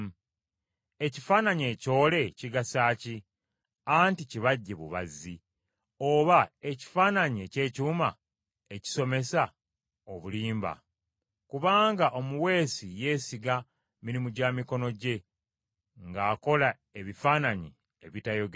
“Ekifaananyi ekyole kigasa ki? Anti kibajje bubazzi. Oba ekifaananyi eky’ekyuma, ekisomesa obulimba? Kubanga omuweesi yeesiga mirimu gya mikono gye nga akola ebifaananyi ebitayogera!